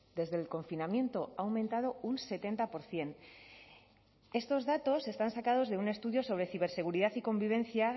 desde el confinamiento ha aumentado un setenta por ciento estos datos están sacados de un estudio sobre ciberseguridad y convivencia